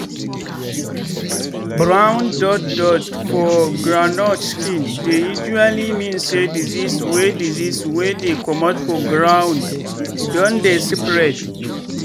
brown dot dot for groundnut skin dey usually mean say disease wey disease wey dey comot for ground don dey spread.